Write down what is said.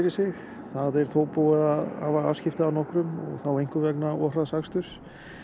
sig það er þó búið að hafa afskipti af nokkrum þá einkum vegna of hraðs aksturs